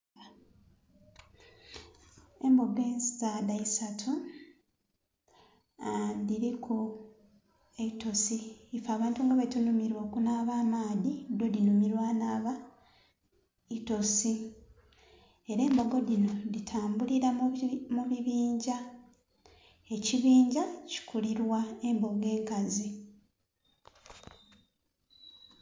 Embbogo ensaadha isatu aa.. dhiriku eitosi, iffe abantu nga bwe tunhumilwa okunhaba amaadhi dho dhinumirwa nnhaba itosi era embbogo dhino dhi tambulira mu bibindha, ekibindha kikulirwa embbogo enkazi.